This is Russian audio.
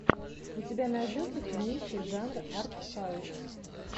у тебя найдется кинище жанр арт хаус